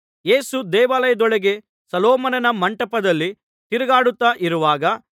ಯೇಸು ದೇವಾಲಯದೊಳಗೆ ಸೊಲೊಮೋನನ ಮಂಟಪದಲ್ಲಿ ತಿರುಗಾಡುತ್ತಾ ಇರುವಾಗ